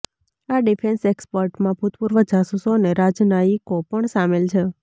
આ ડિફેન્સ એક્સપર્ટમાં ભૂતપૂર્વ જાસૂસો અને રાજનાયિકો પણ સામેલ છે